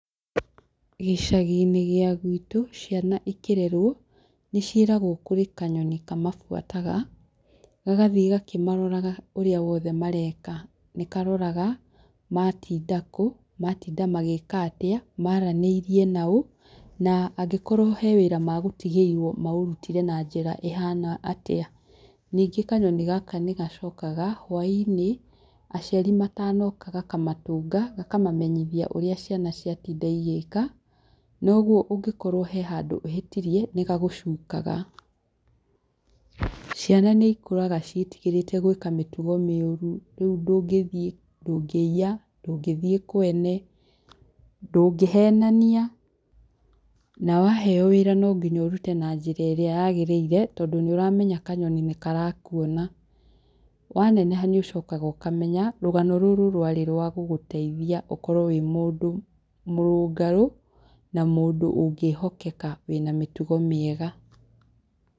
Gĩcagi-inĩ gĩa gwitũ ciana ikĩrerwo, nĩciĩragwo kũrĩ kanyoni kamabuataga, gagathiĩ gakĩmaroraga ũrĩa wothe mareka. Nĩkaroraga, matinda kũ, matinda magĩka atĩa, maranĩirie naũ, na angĩkorwo hena wĩra megũtigĩirwo, maũrutire na njĩra ĩhana atĩa. Ningĩ kanyoni gaka nĩgacokaga, hwaĩ-inĩ, aciari matanoka gakamatũnga, gakamamenyithia ũrĩa ciana ciatinda igĩka, na ũguo ũngĩkorwo he handũ ũhĩtirie, nĩgagũcukaga. Ciana nĩikũraga ciĩtigĩrĩte gwĩka mĩtugo mĩũru, rĩu ndũngĩthi ndũngĩiya, ndũngĩthiĩ kwene, ndũngĩhenania, na waheo wĩra nonginya ũrute na njĩra ĩrĩa yagĩrĩire, tondũ nĩũramenya kanyoni nĩkarakuona. Waneneha nĩũcokaga ũkamenya, rũgano rũrũ rwarĩ rwa gũgũtaithia ũkorwo wĩ mũndũ mũrũngarũ, na mũndũ ũngĩhokeka wĩna mĩtugo mĩega.